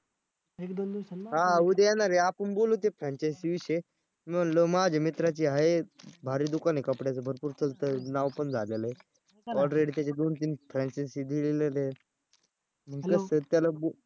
हां उद्या येणार आहे आपण बोलू ते franchise विषयी मी म्हंटलो माझ्या मित्राची आहे. भारी दुकान आहे कपड्याचं भरपूर स्वस्त आहे. नावपण झालेलं आहे. already त्याचे दोन तीन franchise दिलेल्या आहेत त्याला